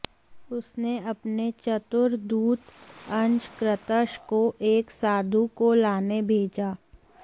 उसने अपने चतुर दूत अंशक्रतश को एक साधु को लाने भेजा